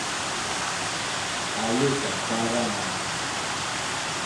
олеся баранова